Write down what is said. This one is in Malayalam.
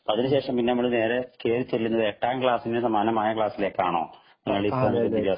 അതിനു ശേഷം നമ്മൾ നേരെ കേറിചെല്ലുന്നത് എട്ടാം ക്ലാസ്സിനു സമാനമായ ക്ലാസ്സിലേക്കാണോ